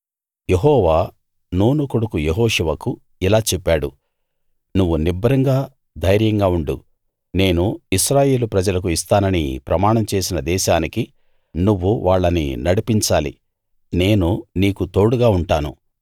యెహోవా Nun కొడుకు యెహోషువకు ఇలా చెప్పాడు నువ్వు నిబ్బరంగా ధైర్యంగా ఉండు నేను ఇశ్రాయేలు ప్రజలకు ఇస్తానని ప్రమాణం చేసిన దేశానికి నువ్వు వాళ్ళని నడిపించాలి నేను నీకు తోడుగా ఉంటాను